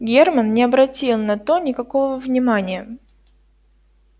германн не обратил на то никакого внимания